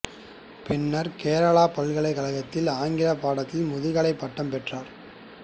பின்னர் கேரளப் பல்கலைக்கழகத்தில் ஆங்கிலப் பாடத்தில் முதுகலை பட்டம் பெற்றார்